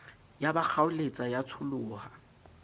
ya ba kgaoletsa ya tsholoha